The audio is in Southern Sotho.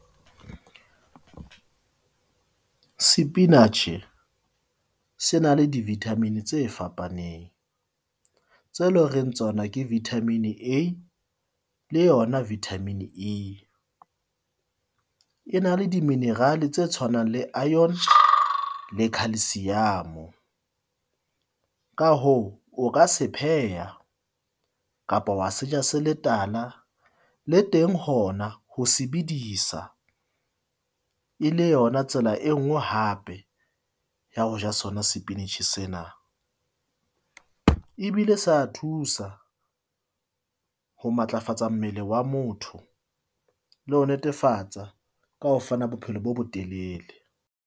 Sepinatjhe se na le di-vitamin tse fapaneng, tse loreng tsona ke vitamin A, le yona Vitamin E, e na le diminerale tse tshwanang le iron le khalsiamo. Ka hoo o ka se pheha kapa wa se ja se le tala le teng, hona ho sebedisa e le yona tsela e nngwe hape ya ho ja sona sepinatjhe sena. Ebile sa thusa ho matlafatsa mmele wa motho le ho netefatsa ka ho fana bophelo bo bo telele.